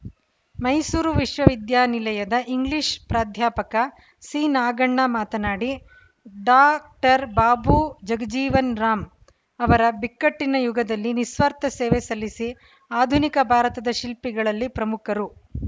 ಮೈಸೂರು ವಿಶ್ವವಿದ್ಯಾಲಯದ ಇಂಗ್ಲೀಷ್‌ ಪ್ರಾಧ್ಯಾಪಕ ಸಿನಾಗಣ್ಣ ಮಾತನಾಡಿ ಡಾ ಕ್ಟರ್ ಬಾಬೂ ಜಗಜೀವನರಾಮ್‌ ಅವರ ಬಿಕ್ಕಟ್ಟಿನ ಯುಗದಲ್ಲಿ ನಿಸ್ವಾರ್ಥ ಸೇವೆ ಸಲ್ಲಿಸಿ ಆಧುನಿಕ ಭಾರತದ ಶಿಲ್ಪಿಗಳಲ್ಲಿ ಪ್ರಮುಖರು